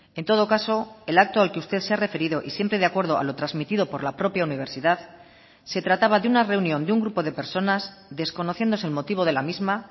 en todo caso el acto al que usted se ha referido y siempre de acuerdo a lo transmitido por la propia universidad se trataba de una reunión de un grupo de personas desconociéndose el motivo de la misma